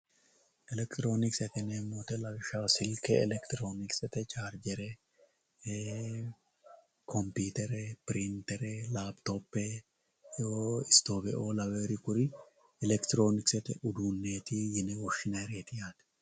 elekitiroonkise lawishshaho silke elekitiroonikisete charjje elekitiroonkisete computere pirintere lapitope stoofeoo lawewori kuri elekitiroonkisete uduunneeti yine woshshinayireeti yaate